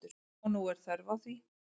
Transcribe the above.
Og nú er þörf á því.